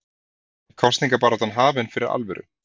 En er kosningabaráttan hafin fyrir alvöru?